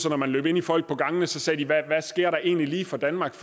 at når man løb ind i folk på gangene sagde de hvad sker der egentlig lige for danmark